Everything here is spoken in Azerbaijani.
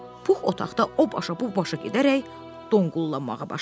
Pux otaqda o başa bu başa gedərək donqullamağa başladı.